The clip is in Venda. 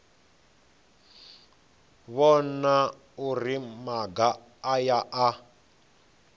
vhona uri maga aya a